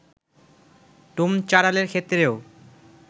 ডোম-চাঁড়ালের ক্ষেত্রেও